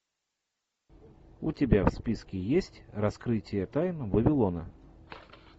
у тебя в списке есть раскрытие тайн вавилона